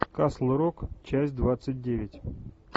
касл рок часть двадцать девять